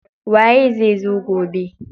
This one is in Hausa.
Waye zai zo gobe?